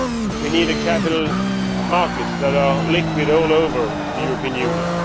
We need capital markets that are liquid all over the European Union.